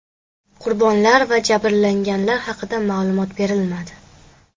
Qurbonlar va jabrlanganlar haqida ma’lumot berilmadi.